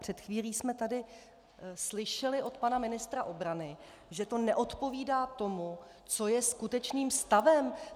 Před chvílí jsme tady slyšeli od pana ministra obrany, že to neodpovídá tomu, co je skutečným stavem.